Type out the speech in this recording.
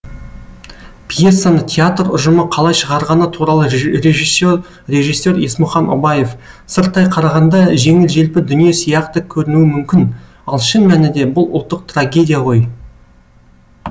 пьесаны театр ұжымы қалай шығарғаны туралы режиссер режиссер есмұхан обаев сырттай қарағанда жеңіл желпі дүние сияқты көрінуі мүмкін ал шын мәнінде бұл ұлттық трагедия ғой